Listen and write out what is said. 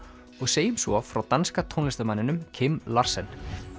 og segjum svo frá danska tónlistarmanninum Kim Larsen